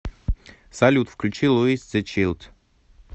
салют включи луис зе чилд